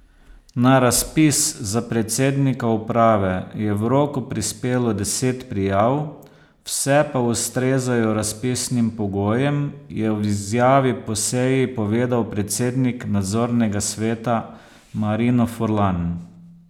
Na razpis za predsednika uprave je v roku prispelo deset prijav, vse pa ustrezajo razpisnim pogojem, je v izjavi po seji povedal predsednik nadzornega sveta Marino Furlan.